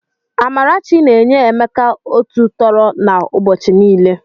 Amarachi na-enye Emeka otu tọrọ na ụbọchi niile.